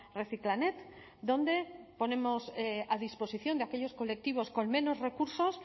reciclanet donde ponemos a disposición de aquellos colectivos con menos recursos